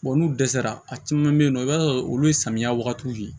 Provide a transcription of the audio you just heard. bɔn n'u dɛsɛra a caman be yen nɔ i b'a sɔrɔ olu ye samiya wagatiw de ye